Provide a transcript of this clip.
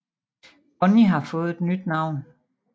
Bonney har fået et nyt navn